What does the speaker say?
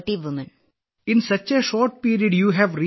Vijayashanti sir ഇപ്പോഴും എന്റെ 30 സ്ത്രീകൾക്കൊപ്പം ജോലി ചെയ്യുന്നു